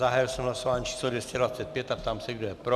Zahájil jsem hlasování číslo 225 a ptám se, kdo je pro.